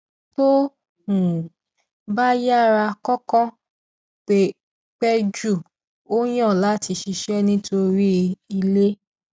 tó um bá yára kọọkan pẹ jù ó yàn láti ṣiṣẹ nítòrí ilé